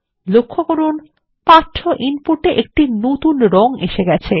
লক্ষ্য করুন পাঠ্য ইনপুট এ একটি নতুন রং এসে গেছে